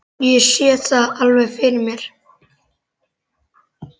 Ég sé það alveg fyrir mér.